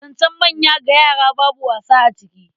Zancen manya ga yara babu wasa a ciki.